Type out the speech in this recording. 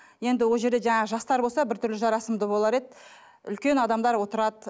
енді ол жерде жаңағы жастар болса біртүрлі жарасымды болар еді үлкен адамдар отырады